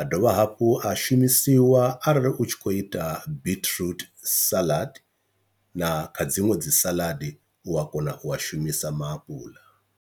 a dovha hafhu a shumisiwa arali u tshi kho ita biṱiruṱi salad, na kha dziṅwe dzi salad u a kona u a shumisa maapuḽa.